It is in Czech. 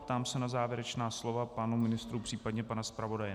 Ptám se na závěrečná slova pánů ministrů, případně pana zpravodaje.